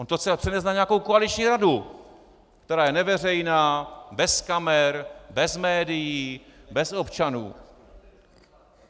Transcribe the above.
On to chce přenést na nějakou koaliční radu, která je neveřejná, bez kamer, bez médií, bez občanů.